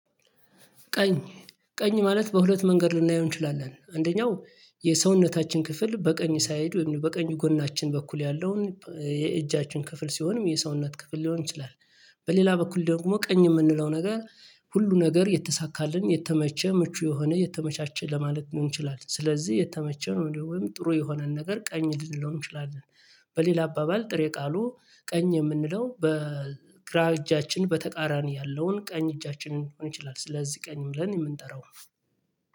ቀኝ ቀኝ ማለት በሁለት መንገድ ልናየው እንችላለን። አንደኛው የሰውነታችን ክፍል በቀኝ ሳይድ በቀኙ ጎናችን በኩል ያለውን የእጃችን ክፍል ሲሆንም የሰውነት ክፍል ሊሆን ይችላል። በሌላ በኩል ደግሞ ቀኝ የምንለው ነገር ሁሉ ነገር የተሳካልን የተመቸ ምቹ የሆነ የተመቻቸ ለማለት ሊሆን ይችላል ስለዚህ የተመቸ ነው ወይም ጥሩ የሆነን ነገር ቀኝ ልንለው እንችላለን። በሌላ አባባል ጥሬ ቃሉ ቀኝ የምንለው በግራ እጃችን በተቃራኒ ያለውን ቀኝ እጃችንን ሊሆን ይችላል ስለዚህ ቀኝ ብለን የምንጠራው